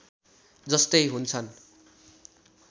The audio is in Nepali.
जस्तै हुन्छन्